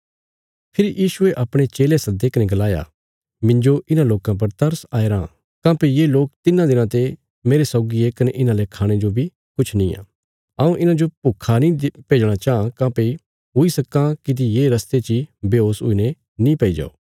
फेरी यीशुये अपणे चेले सद्दे कने गलाया मिन्जो इन्हां लोकां पर तरस आईराँ काँह्भई ये लोक तिन्नां दिनां ते मांह सौगी ये कने इन्हांले खाणे जो बी किछ निआं हऊँ इन्हांजो भुक्खा नीं भेजणा चाँह काँह्भई हुई सक्कां किति ये रस्ते ची बेहोश हुईने नीं पैईजो